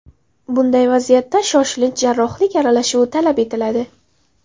Bunday vaziyatda shoshilinch jarrohlik aralashuvi talab etiladi.